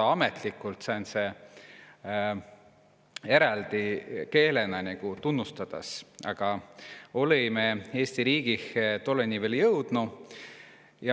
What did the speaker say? uma kiilt Eesti riik eräldi keelena tunstas, a mi olõ-i sjooni viil jõudnud.